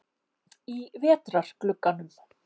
Í vetrarglugganum?